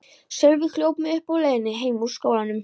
Sölvi hljóp mig uppi á leiðinni heim úr skólanum.